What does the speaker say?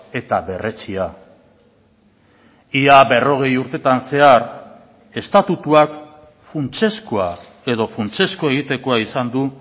eta berretsia ia berrogei urtetan zehar estatutuak funtsezkoa edo funtsezko egitekoa izan du